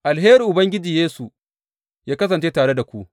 Alherin Ubangiji Yesu yă kasance tare da ku.